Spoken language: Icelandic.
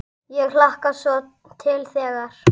Ég hlakkar svo til þegar.